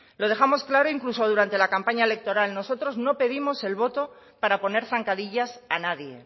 lo dejamos claro incluso durante la campaña electoral nosotros no pedimos el voto para poner zancadillas a nadie